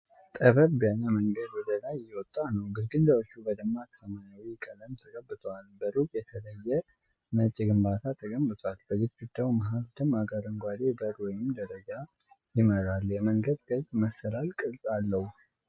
ጠበብ ያለ መንገድ ወደ ላይ እየወጣ ነው። ግድግዳዎቹ በደማቅ ሰማያዊ ቀለም ተቀብተዋል። በሩቁ የተለየ ነጭ ግንባታ ተገንብቷል። በግድግዳው መሃል ደማቅ አረንጓዴ በር ወደ ደረጃ ይመራል። የመንገዱ ቅርጽ መሰላል ቅርጽ አለው።